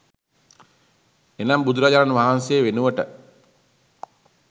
එනම් බුදුරජාණන් වහන්සේ වෙනුවට